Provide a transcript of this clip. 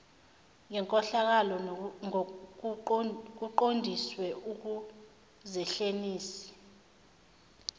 ngenkohlakalo kuqondiswe ekuzehliseni